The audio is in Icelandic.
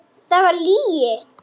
Það var lygi.